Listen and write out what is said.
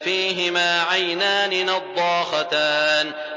فِيهِمَا عَيْنَانِ نَضَّاخَتَانِ